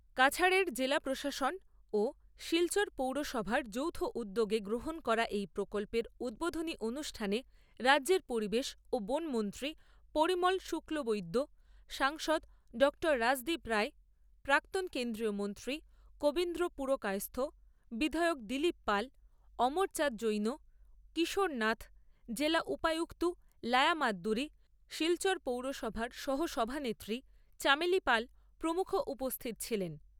কাছাড়ের জেলা প্রশাসন ও শিলচর পৌরসভার যৌথ উদ্যোগে গ্রহন করা এই প্রকল্পের উদ্ভোধনী অনুষ্ঠানে রাজ্যের পরিবেশ ও বন মন্ত্রী পরিমল শুক্লবৈদ্য , সাংসদ ডঃ রাজদ্বীপ রায় , প্রাক্তন কেন্দ্রীয় মন্ত্রী কবিন্দ্র পুরকায়স্থ , বিধায়ক দিলীপ পাল , অমর চাদ জৈন , কিশোর নাথ , জেলা উপায়ুক্ত লায়া মাদ্দুরী , শিলচর পৌরসভার সহ সভানেত্রী চামেলি পাল প্রমুখ উপস্থিত ছিলেন ।